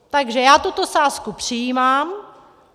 Takže já tuto sázku přijímám.